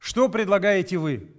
что предлагаете вы